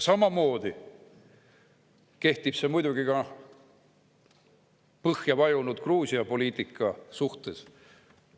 Samamoodi kehtib see muidugi põhja vajunud Gruusia poliitika suhtes.